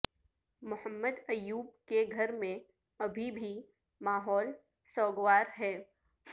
محمد ایوب کے گھر میں ابھی بھی ماحول سوگوار ہے